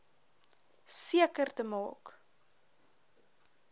seker te maak